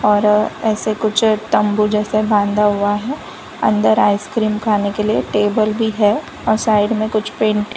और ऐसे कुछ तंबू जैसे बांधा हुआ हैं अंदर आइस क्रीम खाने के लिए टेबल भी हैं और साइड मैं कुछ पेंट --